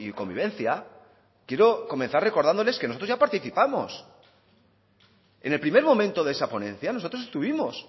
convivencia quiero comenzar recordándoles que nosotros ya participamos en el primer momento de esa ponencia nosotros estuvimos